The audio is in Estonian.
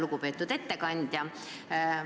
Lugupeetud ettekandja!